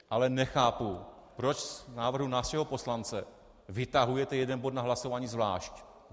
Ale nechápu, proč z návrhu našeho poslance vytahujete jeden bod na hlasování zvlášť.